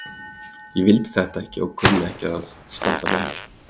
Ég vildi þetta ekki en kunni ekki að standa með mér.